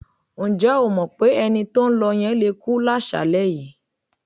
Ǹjẹ́ o mọ̀ pé ẹni tó ń lọ yẹn le kú láṣàálẹ́ yìí?